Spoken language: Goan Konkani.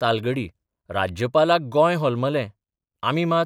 तालगडी राज्यपालाक गॉय होलमलें, आमी मात...